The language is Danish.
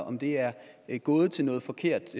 om de er gået til noget forkert